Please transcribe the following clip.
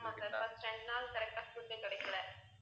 ஆமா sir first இரண்டு நாள் correct ஆ food கிடைக்கல